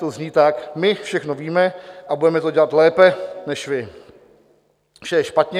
Ta zní tak: My všechno víme a budeme to dělat lépe než vy, vše je špatně.